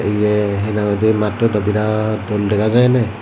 ibe hee nang hoide matto daw birat dol dega jai ene.